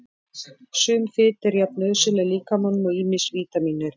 Sum fita er jafn nauðsynleg líkamanum og ýmis vítamín eru.